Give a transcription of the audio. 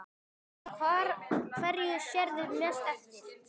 Kristján: Hverju sérðu mest eftir?